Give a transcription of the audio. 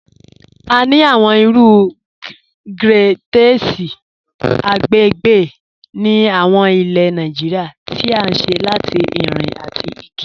A ni awọn iru grẹ́tẹ̀sì agbègbè ni awọn ilẹ̀ Nàìjíríà tí à ṣé látì irin àtì igi.